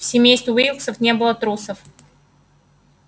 в семействе уилксов не было трусов